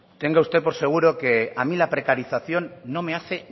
tenga usted por seguro que a mí la precarización no me hace